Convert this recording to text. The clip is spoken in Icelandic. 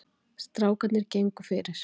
Strákarnir gengu fyrir.